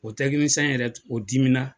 O yɛrɛ o dimina.